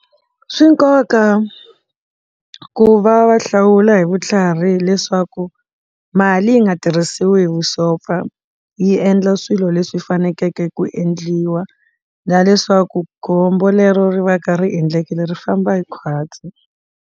Swi na nkoka ku va va hlawula hi vutlhari hileswaku mali yi nga tirhisiwi hi vusopfa yi endla swilo leswi faneleke ku endliwa na leswaku khombo lero ri va ka ri endlekile ri famba hi khwatsi.